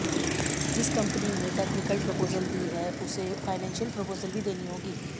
जिस कंपनी ने technical proposal दी है उसे फाइनेंशियल प्रपोजल भी देनी होगी